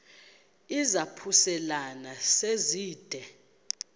izaphuselana se zide